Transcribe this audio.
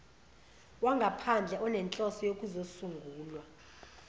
wangaphandle onenhloso yokuzosungula